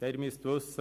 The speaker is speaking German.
Sie müssen wissen: